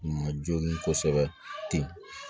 Ma jɔ kosɛbɛ ten